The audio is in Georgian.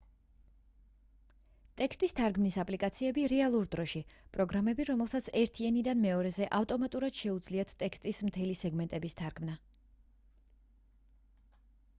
ტექსტის თარგმნის აპლიკაციები რეალურ დროში პროგრამები რომლებსაც ერთი ენიდან მეორეზე ავტომატურად შეუძლიათ ტექსტის მთელი სეგმენტების თარგმნა